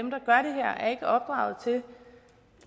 her er ikke opdraget til